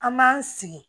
An b'an sigi